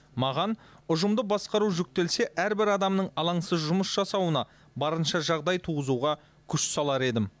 маған ұжымды басқару жүктелсе әрбір адамның алаңсыз жұмыс жасауына барынша жағдай туғызуға күш салар едім